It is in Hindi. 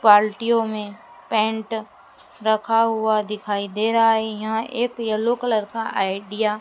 बाल्टियों में पेंट रखा हुआ दिखाई दे रहा है यहाँ एक येलो कलर का आईडिया --